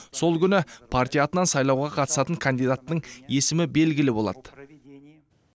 сол күні партия атынан сайлауға қатысатын кандидаттың есімі белгілі болады